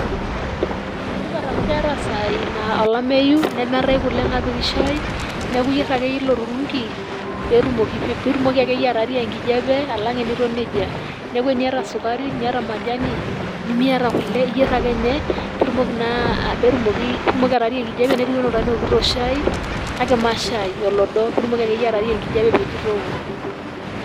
ene tipat amu keeta isaai naa olameyu nemeetae kule napiki shai ,neku iyier ake yie ilo turungi pitumoki akeyie atarie enkijepe alang teniton nejia .neaku teniata sukari ,teniata majani ,nimiata kule iyier ake enye pitumoki atarie ekijepe netiu anaa oltungani ookito shai kake ma shai olodo pitumoki akeyie ataarai enkijepe peji itooko .